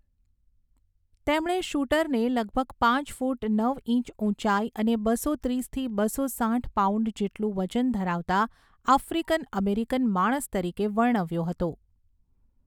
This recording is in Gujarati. તેમણે શૂટરને લગભગ પાંચ ફૂટ નવ ઇંચ ઊંચાઈ અને બસો ત્રીસથી બસો સાઠ પાઉન્ડ જેટલું વજન ધરાવતા આફ્રિકન અમેરિકન માણસ તરીકે વર્ણવ્યો હતો.